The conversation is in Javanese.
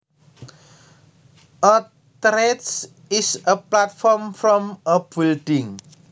A terrace is a platform from a building